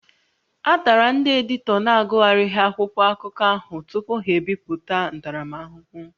A tara ndị editọ na-agụgharịghị akwụkwọ akụkọ ahụ tupu ha ebipụta ntaramahụhụ